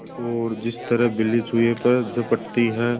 और जिस तरह बिल्ली चूहे पर झपटती है